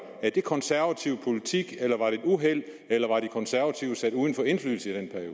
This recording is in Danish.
det konservativ politik eller var det et uheld eller var de konservative sat uden for indflydelse i